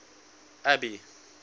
abby